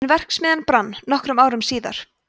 en verksmiðjan brann nokkrum árum síðar